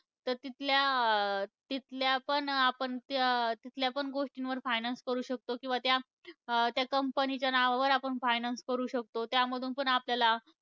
तर तिथल्या अं तिथल्या पण त्या आपण तिथल्या पण गोष्टींवर finance करू शकतो. किंवा त्या company च्या नावावर आपण finance करू शकतो. त्यामधुन पण आपल्याला